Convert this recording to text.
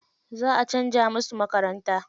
Za a canza musu makaranta.